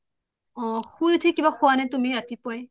অ শুই উঠি কিবা খোৱা নে তুমি ৰাতিপুৱাই